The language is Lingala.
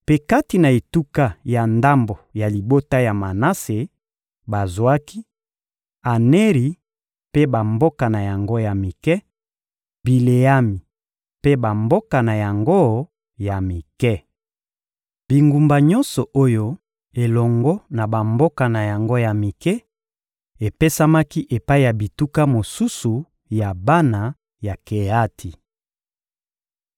Mpe kati na etuka ya ndambo ya libota ya Manase, bazwaki: Aneri mpe bamboka na yango ya mike, Bileami mpe bamboka na yango ya mike. Bingumba nyonso oyo elongo na bamboka na yango ya mike epesamaki epai ya bituka mosusu ya bana ya Keati.